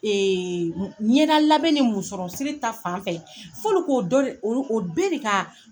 m ɲɛda labɛn ni musɔrɔ siri ta fan fɛ f'olu k'o dɔ de olu o d bee de kaa